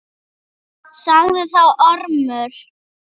Sagði þá Ormur